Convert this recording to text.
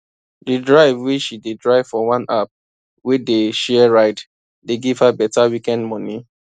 the drive wey she dey drive for one app wey dey share ride dey give her better weekend money